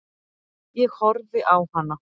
Ég horfi á hana.